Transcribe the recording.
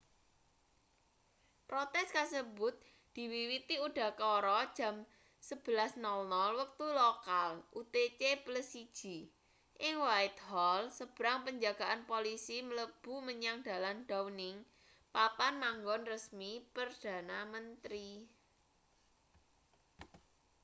protes kasebut diwiwiti udakara jam 11.00 wektu lokal utc+1 ing whitehall sebrang penjagaan polisi mlebu menyang dalan downing papan manggon resmi perdana menteri